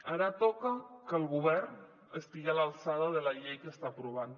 ara toca que el govern estigui a l’alçada de la llei que està aprovant